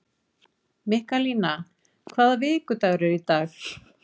Mikkalína, hvaða vikudagur er í dag?